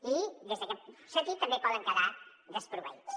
i en aquest sentit també poden quedar desproveïts